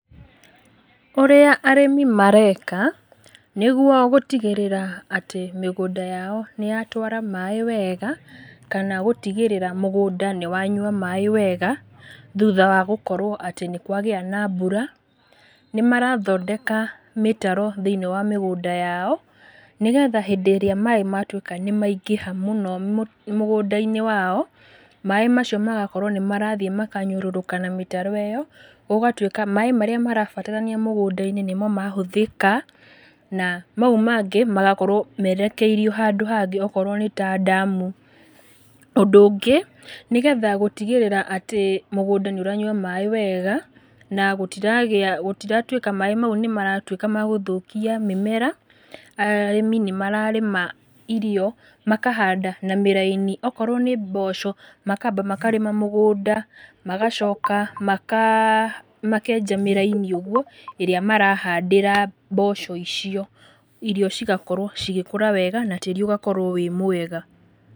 ũrĩa arĩmi mareka, nĩguo gũtigĩrĩra atĩ mĩgũnda yao nĩyatwara maĩ wega, kana gũtigĩrĩra atĩ mũgũnda nĩwanyua maĩ wega, thutha wagũkorwo atĩ nĩkwagĩa na mbura, nĩmarathondeka mĩtaro thĩ-inĩ wa mĩgũnda yao, nĩgetha hĩndĩ ĩrĩa maĩ matwĩka nĩmaingĩha mũno ma mũgũnda-inĩ wao, maĩ macio magakorwo nĩmarathiĩ makanyũrũrũka na mĩtaro ĩyo, gũgatwĩka atĩ maĩ marĩa marabatarania mũgũnda-inĩ nĩmo nĩmahũthĩka, na mau mangĩ magakorwo merekeirio handũ hangĩ akorwo nĩta ndamu. Ũndũ ũngĩ, nĩgetha gũtigĩrĩra atĩ, mũgũnda nĩũranyua maĩ wega, na gũtiragĩa, gũtiratwĩka maĩ mau nĩmaratwĩka ma gũthũkia mĩmera, arĩmi nĩmararĩma irio, makahanda na mĩraini, okorwo nĩ mboco, makamba makarĩma mĩgũnda, magacoka maka, makenja mĩraini ũguo ĩrĩa marahandĩra mboco icio, irio cigakorwo cigĩkũra wega, na tĩri ũgakorwo wĩ mwega.